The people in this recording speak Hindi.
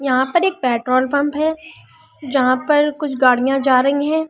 यहां पर एक पेट्रोल पंप है जहां पर कुछ गाड़ियां जा रही हैं।